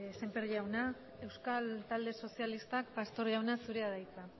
semper jauna euskal talde sozialistak pastor jauna zurea da hitza